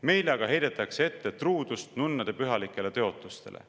Meile aga heidetakse ette truudust nunnade pühalikele tõotustele.